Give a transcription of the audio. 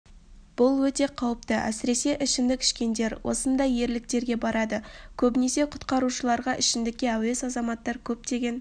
бұл өте қауіпті әсіресе ішімдік ішкендер осындай ерліктерге барады көбінесе құтқарушыларға ішімдікке әуес азаматтар көптеген